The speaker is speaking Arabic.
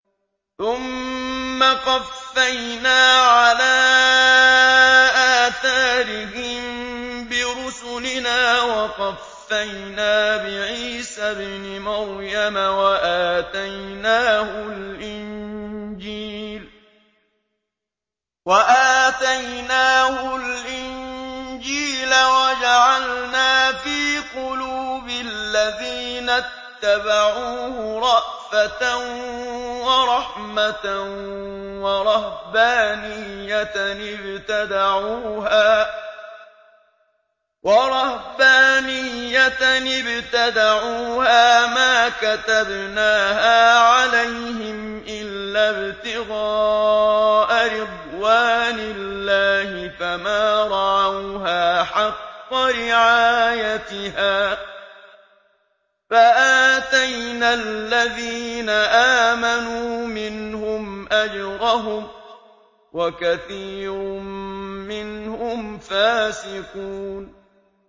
ثُمَّ قَفَّيْنَا عَلَىٰ آثَارِهِم بِرُسُلِنَا وَقَفَّيْنَا بِعِيسَى ابْنِ مَرْيَمَ وَآتَيْنَاهُ الْإِنجِيلَ وَجَعَلْنَا فِي قُلُوبِ الَّذِينَ اتَّبَعُوهُ رَأْفَةً وَرَحْمَةً وَرَهْبَانِيَّةً ابْتَدَعُوهَا مَا كَتَبْنَاهَا عَلَيْهِمْ إِلَّا ابْتِغَاءَ رِضْوَانِ اللَّهِ فَمَا رَعَوْهَا حَقَّ رِعَايَتِهَا ۖ فَآتَيْنَا الَّذِينَ آمَنُوا مِنْهُمْ أَجْرَهُمْ ۖ وَكَثِيرٌ مِّنْهُمْ فَاسِقُونَ